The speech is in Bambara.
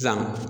Sisan